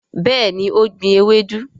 béèni o gbìn ewedu.